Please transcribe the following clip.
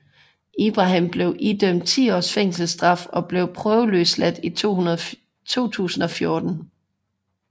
Ibrahim blev idømt ti års fængselsstraf og blev prøveløsladt i 2014